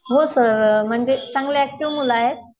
हो सर. म्हणजे चांगले ऍक्टिव्ह मुलं आहेत.